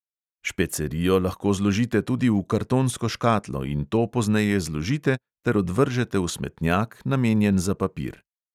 Špecerijo lahko zložite tudi v kartonsko škatlo in to pozneje zložite ter odvržete v smetnjak, namenjen za papir.